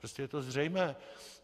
Prostě je to zřejmé.